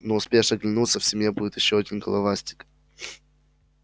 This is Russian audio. не успеешь оглянуться в семье будет ещё один головастик